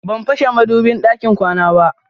Ban fashe madubin ɗakin kwana ba.